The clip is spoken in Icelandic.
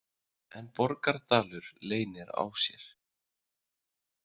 En Borgardalur leynir á sér.